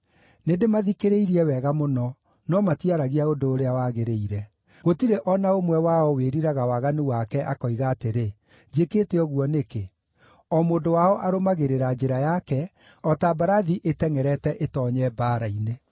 Nĩndĩmathikĩrĩirie wega mũno, no matiaragia ũndũ ũrĩa wagĩrĩire. Gũtirĩ o na ũmwe wao wĩriraga waganu wake, akoiga atĩrĩ, “Njĩkĩte ũguo nĩkĩ?” O mũndũ wao arũmagĩrĩra njĩra yake o ta mbarathi ĩtengʼerete ĩtoonye mbaara-inĩ.